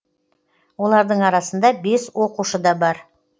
олардың арасында бес оқушы да бар